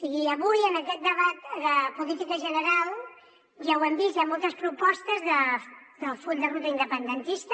i avui en aquest debat de política general ja ho hem vist hi ha moltes propostes del full de ruta independentista